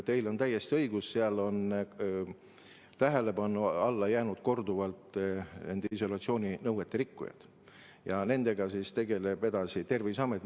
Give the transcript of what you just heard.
Teil on täiesti õigus, seal on tähelepanu alla sattunud korduvalt eneseisolatsiooninõuete rikkujaid ja nendega tegeleb edasi Terviseamet.